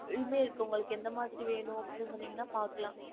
இதுவுமே இருக்கு உங்களுக்கு எந்த மாதிரி வேணும் அப்டின்னு சொன்னிங்கனா பாக்கலாம்